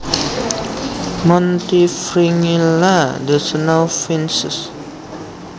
Montifringilla the snowfinches